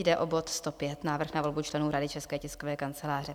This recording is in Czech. Jde o bod 105, návrh na volbu členů Rady České tiskové kanceláře.